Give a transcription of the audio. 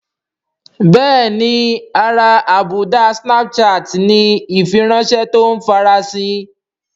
Bẹ́ẹ̀ni ara àbùdá snapchat ni ìfiránṣẹ́ tó ń farasin